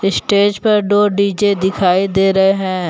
Stage पर दो D J दिखाई दे रहे हैं।